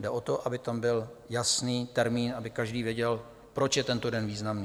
Jde o to, aby tam byl jasný termín, aby každý věděl, proč je tento den významný.